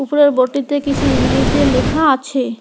উপরের বোর্ড -টিতে কিছু ইংলিশ দিয়ে লেখা আছে।